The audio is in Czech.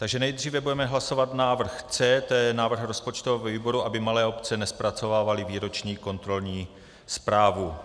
Takže nejdříve budeme hlasovat návrh C, to je návrh rozpočtového výboru, aby malé obce nezpracovávaly výroční kontrolní zprávu.